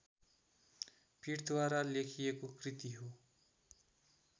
पीठद्वारा लेखिएको कृति हो